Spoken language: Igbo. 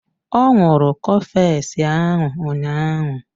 Ọ ṅụrụ cofex ahụ ụnyaahụ.